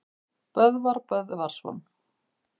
Böðvar Böðvarsson